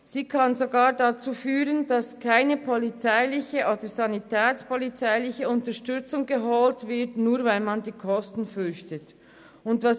Es könnte sogar dazu führen, dass keine polizeiliche Unterstützung geholt wird, nur weil man die Kosten selber tragen muss.